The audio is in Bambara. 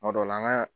Kuma dɔ la an ka